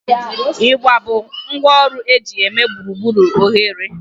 Igba bụ ngwá ọrụ eji eme gburugburu oghere